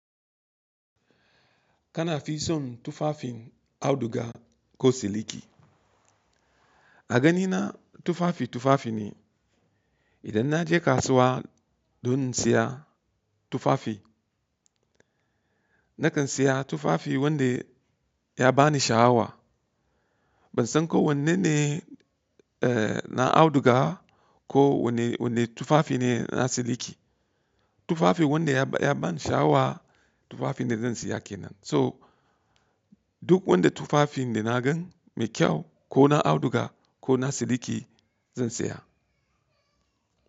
Kana fi son tufafin auduga ko siliki? A ganina tufafi tufafi ne. Idan na je kasuwa don siya tufafi, na kan siya tufafi wanda ya bani sha awa. Ban san ko wanne ne, eh, na auduga ko wanne, wanne tufafi ne na siliki. Tufafi wanda ya ba, ya bani sh stava tufafi ne zan siya kenan. So duk wanda tufafin da na gan mai kyau ko na auduga ko na siliki zan siya.